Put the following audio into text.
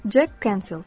Cek Kenfil.